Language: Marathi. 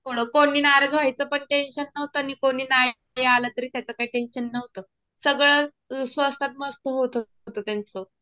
कोणी नाराज व्हायचं पण टेंशन नव्हतं. आणि कोणी नाही आलं तरी त्याच काही टेंशन नव्हतं. सगळं स्वस्तात मस्त होत होतं त्यांच.